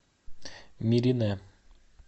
миринэ